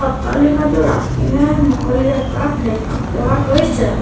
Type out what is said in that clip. অট্টালিকাটোৰ আগপিনে মুকলি আকাশ দেখা পোৱা গৈছে।